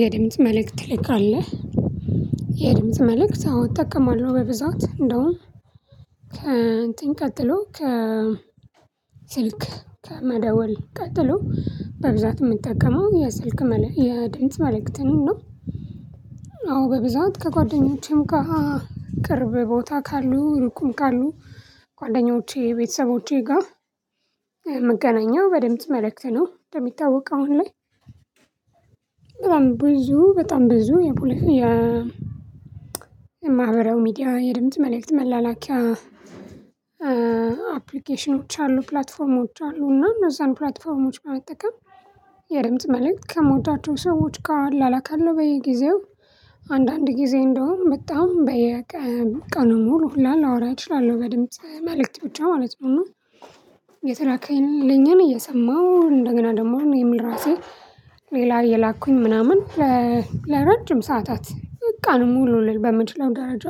የድምጽ መልእክት ልክ አለ። የድምጽ መልእክት አዎ እጠቀማለሁ በብዛት እንደውም ከእንትን ቀጥሎ ከ ስልክ ከመደወል ቀጥሎ በብዛት እምጠቀመው የስልክ የድምጽ መልእክትን ነው። አዎ በብዛት ከጓደኞቼም ጋር ቅርብ ቦታ ካሉ እሩቅም ካሉ ጓደኞቼ ቤተሰቦቼ ጋር እምገናኘው በድምጽ መልእክት ነው። እንደሚታወቅ አሁን ላይ በጣም ብዙ በጣም ብዙ የፖለቲካ የማህበራዊ ሚዲያ የድምጽ መልእክት መላላኪያ አፕልኬሽኖች አሉ ፕላትፎርሞች አሉ። እና እነዛን ፕላትፎርሞች በመጠቀም የድምጽ መልእክት ከምወዳቸው ሰዎች ጋር እላላካለሁ። በየጊዜው አንዳንድ ጊዜ እንዲያውም በጣም በየቀኑ ሙሉ ሁሉ ላወራ እችላለሁ በድምጽ መልእክት ብቻ ማለት ነው። እና የተላከልኝን እየሰማሁ እንደገና ደግሞ እኔም ለራሴ ሌላ እየላኩኝ ምናምን ለረጅም ሰዓታት በቃ ሙሉ በምችለው ደረጃ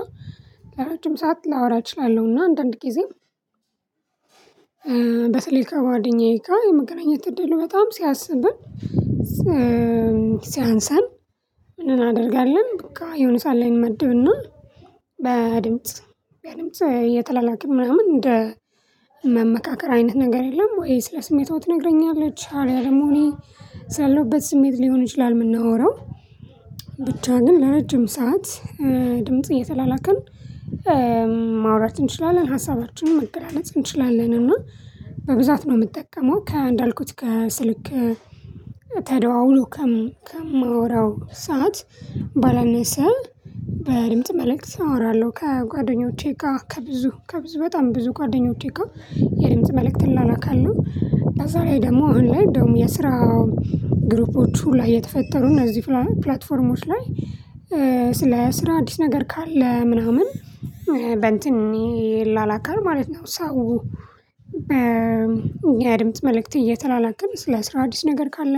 ለረጅም ሰዓት ላወራ እችላለሁና። አንዳንድ ጊዜ በስልክ ከጓደኛዬ ጋር የመገናኘት እድሉ በጣም ሲያንስብን። ሲያንስን ምን አናደርጋለን በቃ የሆነ ሰዓት ላይ እንመድብና በድምጽ በድምጽ እየተላላክን ምናምን እንደ መመካከር አይነት ነገር የለም? ወይ ስለ ስሜቷ ትነግረኛለች አልያ ደግሞ እኔ ስላለሁበት ስሜት ሊሆን ይችላል። እምናወራው ብቻ ግን ለረጅም ሰዓት ድምጽ እየተላላክን ማውራት እንችላለን ሀሳባችንን መገላለጽ እንችላለን። እና በብዛት ነው እምጠቀመው ከእንዳልኩት ከስልክ ተደዋውሎ ከማወራው ሰዓት ባለነሰ በድምጽ መልእክት አወራለሁ። ከጓደኞቼ ጋር ከብዙ ከብዙ በጣም ብዙ ጓደኞቼ ጋር የድምጽ መልእክት እላላካለሁ። በዛ ላይ ደግሞ አሁን ላይ እንዲያውም የስራ ግሩፖቹ ሁላ እየተፈጠሩ እነዚህ ፕላትፎርሞች ላይ ስለ ስራ አዲስ ነገር ካለ ምናምን ይላላካል ማለት ነው። ሰው የድምጽ መልእክት እየተላላክን ስለ ስራ አዲስ ነገር ካለ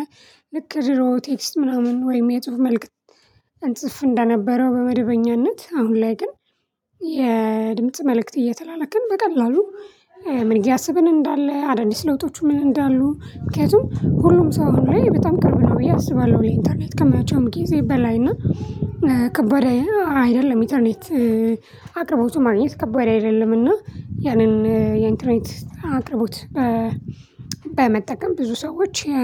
ልክ ድሮ ቴክስት ምናምን ወይም የጽሁፍ መልእክት እንጽፍ እንደነበረው በመደበኛነት አሁን ላይ ግን። የድምጽ መልእክት እየተላለክን በቀላሉ ምን እያሰብን እንዳለ አዳዲስ ለውጦቹ ምን እንዳሉ ምክንያቱም ሁሉም ሰው አሁን ላይ በጣም ቅርብ ነው ብዬ አስባለሁ። ለኢንተርኔት ከመቸውም ጊዜ በላይ እና ከባድ አይደለም ኢንተርኔት አቅርቦቱ ማግኘት ከባድ አይደለምና ያንን የኢንተርኔት አቅርቦት በመጠቀም ብዙ ሰዎች የ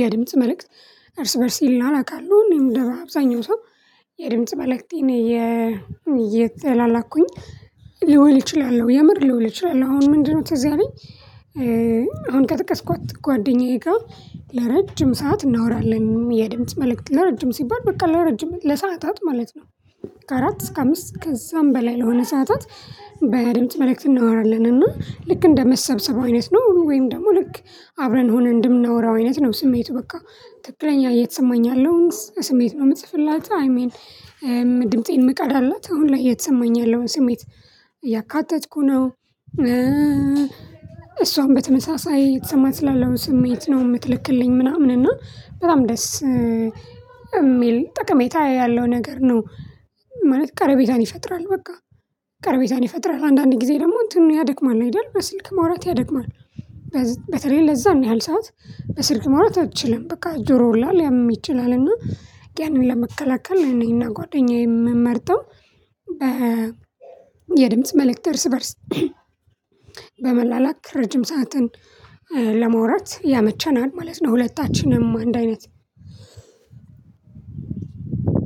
የድምጽ መልእክት እርስ በእርስ ይላላካሉ እኔም እንደ አብዛኛው ሰው የድምጽ መልእክቴን እየተላላኩኝ ልውል እችላለሁ። የምር ልውል እችላለሁ አሁን ምንድነው ትዝ ያለኝ አሁን ከጠቀስኳት ጓደኛዬ ጋር ለረጅም ሰዓት እናወራለን የድምጽ መልእክት ለረጅም ሲባል በቃ ለረጅም ለሰአታት ማለት ነው። ከአራት እስከ አምስት ከዛም በላይ ለሆነ ሰዓታት በድምጽ መልእክት እናወራለን እና ልክ እንደ መሰብሰብ አይነት ነው ወይም ደግሞ ልክ አብረን ሆነን እንድምናወራው አይነት ነው ስሜቱ በቃ ትክክለኛ እየተሰማኝ ያለውን ስሜት ነው። እምጽፍላት አይ ሚን ድምፄን እምቀዳላት አሁን ላይ እየተሰማኝ ያለውን ስሜት እያካተትኩ ነው። እሷም በተመሳሳይ እየተሰማት ስላለው ስሜት ነው እምትልክልኝ ምናምን እና በጣም ደስ እሚል ጥቀሜታ ያለው ነገር ነው። ማለት ቀረቤታን ይፈጥራል በቃ ቀርቤታን ይፈጥራል አንዳንድ ጊዜ ደግሞ እንትኑን ያደክማል አይደል በስልክ ማውራት ያደክማል። በተለይ ለዛን ያህል ሰዓት በስልክ ማውራት አትችልም በቃ ጆሮ ሁላ ሊያምም ይችላል። እና ያንን ለመከላከል እኔና ጓደኛዬ የምንመርጠው የድምጽ መልእክት እርስ በእርስ በመላላክ ረጅም ሰዓትን ለማውራት ያመቸናል ማለት ነው። ሁለታችንም አንድ አይነት